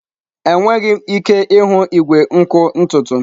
Enweghị m ike ịhụ igwe nkụ ntutu m.